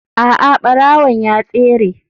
A'a barawon ya tsere.